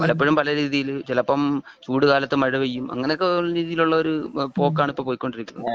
പലപ്പോഴും പല രീതിയിൽ ചിലപ്പോൾ ചൂട് കാലത്ത് മഴ ചെയ്യും. അങ്ങനെയൊക്കെയുള്ള രീതിയിലുള്ള ഒരു പോക്കാണ് ഇപ്പോ പോയകോണ്ടിരിക്കുന്നത്